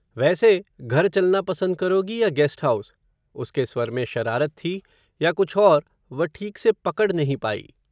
वैसे, घर चलना पसंद करोगी या गैस्ट हाउस, उसके स्वर में, शरारत थी, या कुछ और, वह ठीक से पकड नही पाई